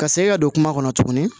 Ka segin ka don kuma kɔnɔ tuguni